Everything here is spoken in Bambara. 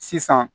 Sisan